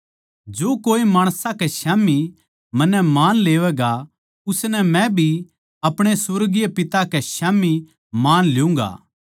जो कोए माणसां कै स्याम्ही मन्नै मान लेवैगा उसनै मै भी अपणे सुर्गीय पिता के स्याम्ही मान ल्यूँगा